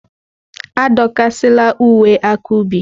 Adọkasịla uwe aka ubi!